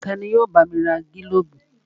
Tani yóò bá mi ra gílóbù?